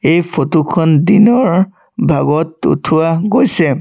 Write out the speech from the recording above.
এই ফটো খন দিনৰ ভাগত উঠোৱা গৈছে।